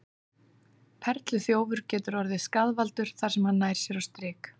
Perluþjófur getur orðið skaðvaldur þar sem hann nær sér á strik.